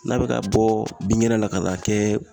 N'a be ka bɔ binkɛnɛ la ka n'a kɛ